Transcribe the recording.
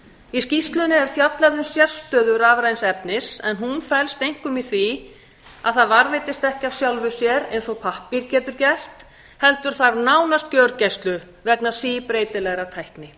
í skýrslunni er fjallað um sérstöðu stafræns efnis en hún felst einkum í því að það varðveitist ekki af sjálfu sér eins og pappír getur gert heldur þarf það nánast gjörgæslu vegna síbreytilegrar tækni